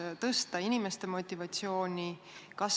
Ja kuidas inimeste motivatsiooni saaks tõsta?